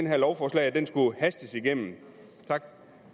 her lovforslag skulle hastes igennem tak